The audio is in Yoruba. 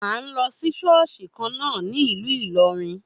A n lọ sí ṣọ́ọ̀ṣì kan na a ní ìlú ìlorin.